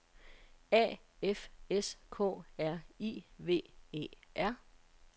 A F S K R I V E R